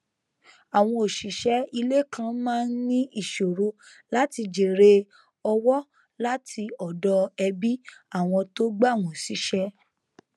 àwọn òṣìṣẹ ilé kan maá n ní ìṣoro láti jèrè ọwọ láti ọdọ ẹbí àwọn tó gbà wọn síṣẹ